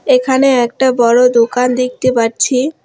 এখানে একটা বড়ো দোকান দেখতে পারছি।